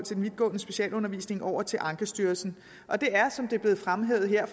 vidtgående specialundervisning over til ankestyrelsen og det er som det er blevet fremhævet her